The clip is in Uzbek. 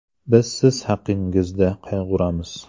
Biz siz haqingizda qayg‘uramiz!